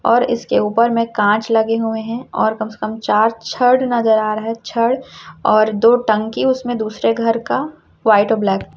और इसके ऊपर में कांच लगे हुए हैं और कम से कम चार छड़ नजर आ रहा है छड़ और दो टंकी उसमें दूसरे घर का वाइट और ब्लैक --